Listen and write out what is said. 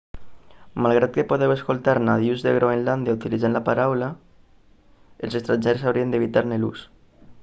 malgrat que podeu escoltar nadius de groenlàndia utilitzant la paraula els estrangers haurien d'evitar-ne l'ús